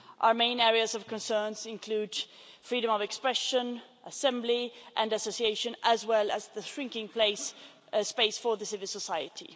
Our main areas of concern include freedom of expression, assembly and association, as well as the shrinking space for civil society.